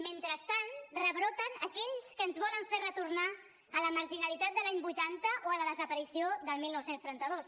mentrestant rebroten aquells que ens volen fer retornar a la marginalitat de l’any vuitanta o a la desaparició del dinou trenta dos